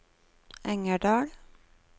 Engerdal